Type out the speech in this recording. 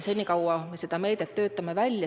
Senikaua me töötame seda meedet välja.